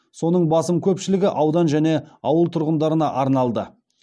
соның басым көпшілігі аудан және ауыл тұрғындарына арналды